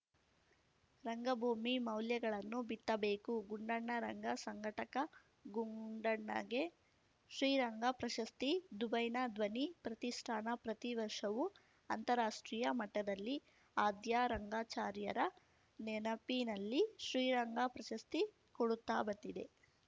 ರಂಗಭೂಮಿ ಮೌಲ್ಯಗಳನ್ನು ಬಿತ್ತಬೇಕು ಗುಂಡಣ್ಣ ರಂಗ ಸಂಘಟಕ ಗುಂಡಣ್ಣಗೆ ಶ್ರೀರಂಗ ಪ್ರಶಸ್ತಿ ದುಬೈನ ಧ್ವನಿ ಪ್ರತಿಷ್ಠಾನ ಪ್ರತಿ ವರ್ಷವೂ ಅಂತಾರಾಷ್ಟ್ರೀಯ ಮಟ್ಟದಲ್ಲಿ ಆದ್ಯ ರಂಗಾಚಾರ್ಯರ ನೆನಪಿನಲ್ಲಿ ಶ್ರೀರಂಗ ಪ್ರಶಸ್ತಿ ಕೊಡುತ್ತಾ ಬಂದಿದೆ